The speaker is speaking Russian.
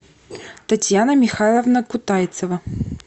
татьяна михайловна кутайцева